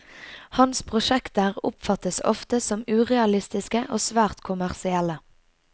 Hans prosjekter oppfattes ofte som urealistiske og svært kommersielle.